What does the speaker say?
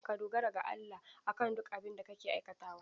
Ka dogara ga Allah a kan duk abin da kake aikatawa.